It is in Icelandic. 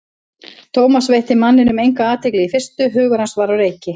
Thomas veitti manninum enga athygli í fyrstu, hugur hans var á reiki.